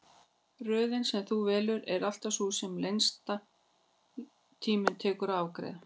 Röðin sem þú velur er alltaf sú sem lengstan tíma tekur að afgreiða.